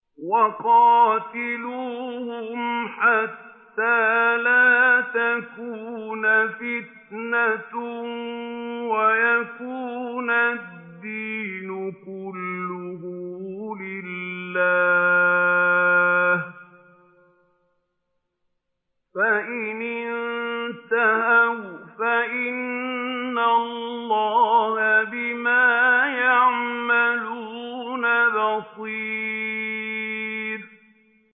وَقَاتِلُوهُمْ حَتَّىٰ لَا تَكُونَ فِتْنَةٌ وَيَكُونَ الدِّينُ كُلُّهُ لِلَّهِ ۚ فَإِنِ انتَهَوْا فَإِنَّ اللَّهَ بِمَا يَعْمَلُونَ بَصِيرٌ